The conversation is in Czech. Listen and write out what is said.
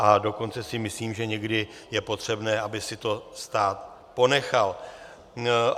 A dokonce si myslím, že někdy je potřebné, aby si to stát ponechal.